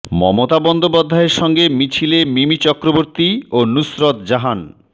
মমতা বন্দ্যোপাধ্যায়ের সঙ্গে মিছিলে মিমি চক্রবর্তী ও নুসরত জাহান